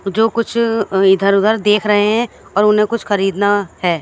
जो कुछ इधर उधर देख रहे हैं और उन्हें कुछ खरीदना है।